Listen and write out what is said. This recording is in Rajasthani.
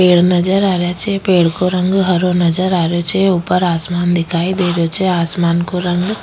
पेड़ नजर आ रिया छे पेड़ को रंग हरो नजर आ रियो छे ऊपर आसमान दिखाई दे रहियो छे आसमान को रंग --